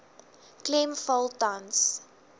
klem val tans